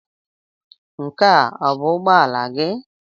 Nke a ọ bụ ụgbọ ala gị?